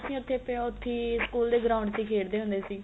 ਅਸੀਂ ਉੱਥੇ school ਦੇ ground ਚ ਖੇਡਦੇ ਹੁੰਦੇ ਸੀ